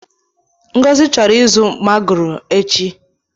Ngozi chọrọ ịzụ magoro echi.